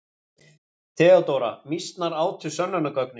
THEODÓRA: Mýsnar átu sönnunargögnin.